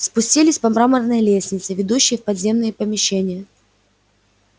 спустились по мраморной лестнице ведущей в подземные помещения